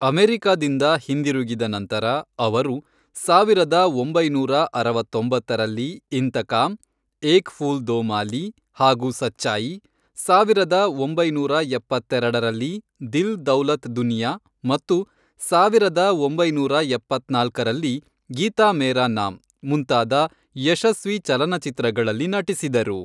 ಅಮೆರಿಕದಿಂದ ಹಿಂದಿರುಗಿದ ನಂತರ, ಅವರು ಸಾವಿರದ ಒಂಬೈನೂರ ಅರವತ್ತೊಂಬತ್ತರಲ್ಲಿ ಇಂತಕಾಂ, ಏಕ್ ಫೂಲ್ ದೋ ಮಾಲೀ, ಹಾಗೂ ಸಚ್ಚಾಯಿ, ಸಾವಿರದ ಒಂಬೈನೂರ ಎಪ್ಪತ್ತೆರಡರಲ್ಲಿ ದಿಲ್ ದೌಲತ್ ದುನಿಯಾ ಮತ್ತು ಸಾವಿರದ ಒಂಬೈನೂರ ಎಪ್ಪತ್ನಾಲ್ಕರಲ್ಲಿ ಗೀತಾ ಮೇರಾ ನಾಮ್ ಮುಂತಾದ ಯಶಸ್ವಿ ಚಲನಚಿತ್ರಗಳಲ್ಲಿ ನಟಿಸಿದರು.